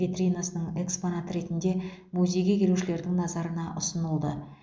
витринасының экспонаты ретінде музейге келушілердің назарына ұсынылды